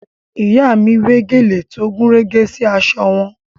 Ìyá mi wé gèlè tó gúnrégé sí aṣọ wọn